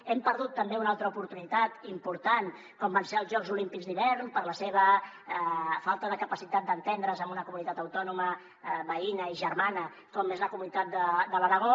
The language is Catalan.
hem perdut també una altra oportunitat important com van ser els jocs olímpics d’hivern per la seva falta de capacitat d’entendre’s amb una comunitat autònoma veïna i germana com és la comunitat de l’aragó